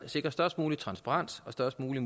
sikre størst mulig transparens og størst mulig